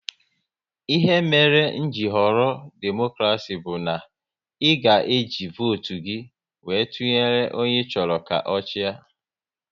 Ihe mere m ji họrọ demokrasi bụ na e ga e ji votu gị wéré tụnyere onye ị chọrọ ka ochia